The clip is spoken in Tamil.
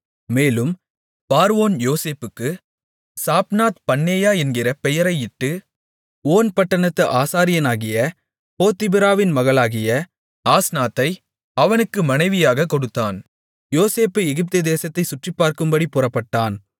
மேலும் பார்வோன் யோசேப்புக்கு சாப்நாத்பன்னேயா என்கிற பெயரையிட்டு ஓன் பட்டணத்து ஆசாரியனாகிய போத்திபிராவின் மகளாகிய ஆஸ்நாத்தை அவனுக்கு மனைவியாகக் கொடுத்தான் யோசேப்பு எகிப்துதேசத்தைச் சுற்றிப்பார்க்கும்படிப் புறப்பட்டான்